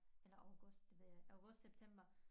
Eller august det ved jeg ikke august september